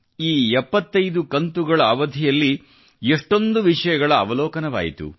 ಈ 75 ಕಂತುಗಳ ಅವಧಿಯಲ್ಲಿ ಎಷ್ಟೊಂದು ವಿಷಯಗಳ ಅವಲೋಕನವಾಯಿತು